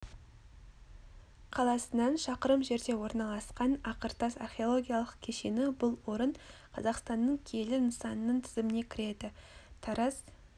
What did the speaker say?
қаласынан шақырым жерде орналасқан ақыртас археологиялық кешені бұл орын қазақстанның киелі нысанының тізіміне кіреді тараз